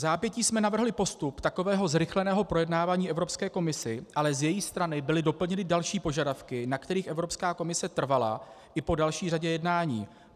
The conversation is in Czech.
Vzápětí jsme navrhli postup takového zrychleného projednávání Evropské komisi, ale z její strany byly doplněny další požadavky, na kterých Evropská komise trvala i po další řadě jednání.